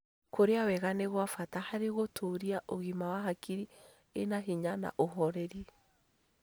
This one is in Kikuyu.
Kũrĩa wega nĩ gwa bata harĩ gũtũũria ũgima wa hakiri ĩna hinya na ũhoreri